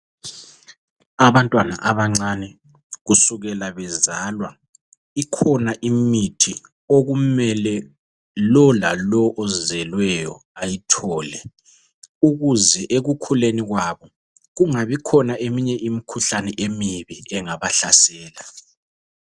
Abantwana abancane kusukela bezalwa ikhona imithi okumele lolalo ozelweyo ayithole ukuze ekukhuleni kwabo kungabi khona eminye imikhuhlane emibi engabahlasela.